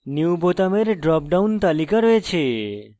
new বোতামের drop down তালিকা রয়েছে